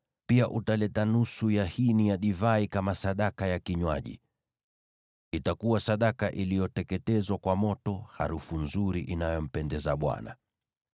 Pia utaleta nusu ya hini ya divai kama sadaka ya kinywaji. Itakuwa sadaka iliyoteketezwa kwa moto, harufu nzuri inayompendeza Bwana .